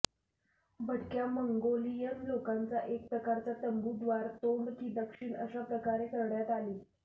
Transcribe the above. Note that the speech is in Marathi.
भटक्या मंगोलियन लोकांचा एक प्रकारचा तंबू द्वार तोंड की दक्षिण अशा प्रकारे करण्यात आली